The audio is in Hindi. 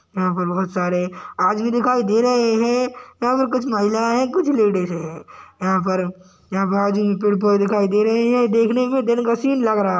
यहां पर बहुत सारे आज भी दिखाई दे रहे हैं यहाँ पर कुछ महिलाएं हैं कुछ लेडीजसे हैं यहां पर यहां पे आज भी पेड़-पौधें दिखाई दे रहे हैं देखने में दिल खुशी लग रहा --